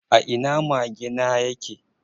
A ina mage na yake?